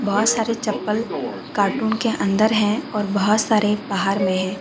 बहोत सारे चप्पल कार्टून के अंदर हैं और बहोत सारे बाहर में हैं।